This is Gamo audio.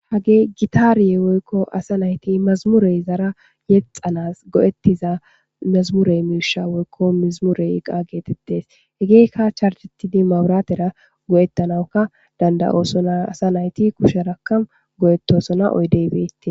Hagey gitaare woykko asa nayti mazmure izara yexxanas go'ettiza mezmure miisha woykko mezmure iqa geetettes hegeyka charjettidi maburaatera go'ettanawuka danda'osona asa nayti kusheraka go'etosona oydey beetes.